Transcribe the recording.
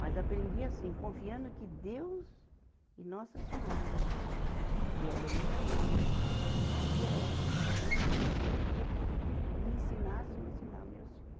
Mas aprendi assim, confiando que Deus e Nossa Senhora, que ela é minha mãe, eu pedia a ela que me ajudasse, que me ensinasse a ensinar meus filhos.